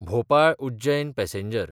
भोपाळ–उज्जैन passenger